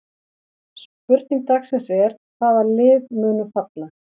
Spurning dagsins er: Hvaða lið munu falla?